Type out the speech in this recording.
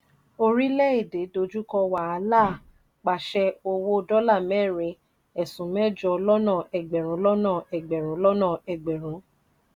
orílè èdè dójú kò wàhálà pàṣẹ owó dola merin esun mejo lọ́nà egberun lọ́nà egberun lọ́nà egberun.